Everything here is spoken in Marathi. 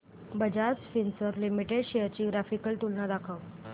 बजाज फिंसर्व लिमिटेड शेअर्स ची ग्राफिकल तुलना दाखव